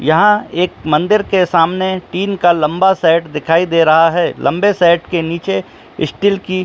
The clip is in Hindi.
यहां एक मंदिर के सामने टीन का लंबा सेट दिखाई दे रहा है लम्बे सेट के नीचे स्टील की --